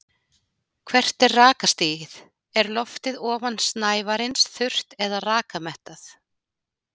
Hvert er rakastigið, er loftið ofan snævarins þurrt eða rakamettað?